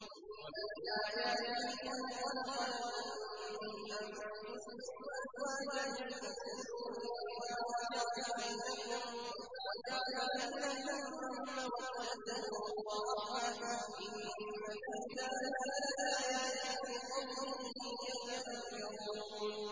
وَمِنْ آيَاتِهِ أَنْ خَلَقَ لَكُم مِّنْ أَنفُسِكُمْ أَزْوَاجًا لِّتَسْكُنُوا إِلَيْهَا وَجَعَلَ بَيْنَكُم مَّوَدَّةً وَرَحْمَةً ۚ إِنَّ فِي ذَٰلِكَ لَآيَاتٍ لِّقَوْمٍ يَتَفَكَّرُونَ